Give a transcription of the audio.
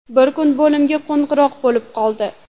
Bir kuni bo‘limga qo‘ng‘iroq bo‘lib qoldi.